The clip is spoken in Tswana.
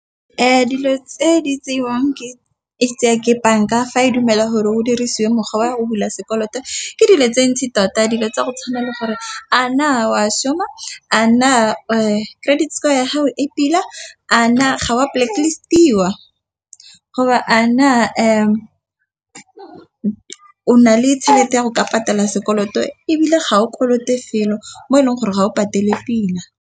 Dilo tse di tseiwang ke itse a ke banka fa e dumela gore go dirisiwa mokgwa wa go bula sekoloto. Ke dilo tse ntsi tota dilo tsa go tshwanela gore a na wa šhuma a na credit score ya gago e pila. A na ga wa polokelo ithutiwa go a na a o na le tšhelete ya go ka patala sekoloto, ebile ga o kolote felo mo e leng gore ga o patele pila.